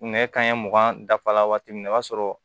Nɛgɛ kanɲɛ mugan dafa la waati min na o b'a sɔrɔ